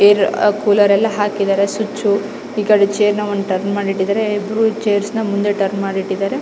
Air cooler ಎಲ್ಲ ಹಾಕಿದ್ದಾರೆ switch ಈ ಕಡೆ ಚೇರ್ ನ ಒಂದು ಟರ್ನ್ ಮಾಡಿ ಇಟ್ಟಿದ್ದಾರೆ ಎದುರು ಚೈರ್ಸ್ ನ ಮುಂದೆ ಟರ್ನ್ ಮಾಡಿ ಇಟ್ಟಿದ್ದಾರೆ.